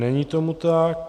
Není tomu tak.